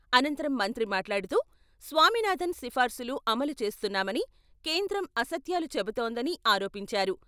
అనంతరం మంత్రి మాట్లాడుతూ, స్వామినాథన్ సిఫార్సులు అమలు చేస్తున్నామని కేంద్రం అసత్యాలు చెబుతోందని ఆరోపించారు.